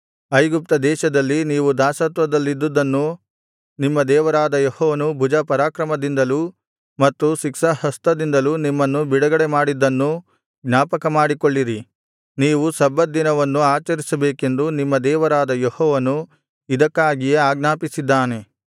ಐಗುಪ್ತ ದೇಶದಲ್ಲಿ ನೀವು ದಾಸತ್ವದಲ್ಲಿದ್ದುದ್ದನ್ನೂ ನಿಮ್ಮ ದೇವರಾದ ಯೆಹೋವನು ಭುಜಪರಾಕ್ರಮದಿಂದಲೂ ಮತ್ತು ಶಿಕ್ಷಾಹಸ್ತದಿಂದಲೂ ನಿಮ್ಮನ್ನು ಬಿಡುಗಡೆಮಾಡಿದ್ದನ್ನೂ ಜ್ಞಾಪಕಮಾಡಿಕೊಳ್ಳಿರಿ ನೀವು ಸಬ್ಬತ್‍ ದಿನವನ್ನು ಆಚರಿಸಬೇಕೆಂದು ನಿಮ್ಮ ದೇವರಾದ ಯೆಹೋವನು ಇದಕ್ಕಾಗಿಯೇ ಆಜ್ಞಾಪಿಸಿದ್ದಾನೆ